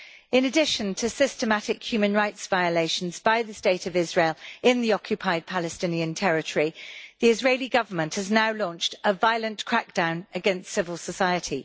In addition to systematic human rights violations by the State of Israel in the occupied Palestinian territory, the Israeli Government has now launched a violent crackdown against civil society.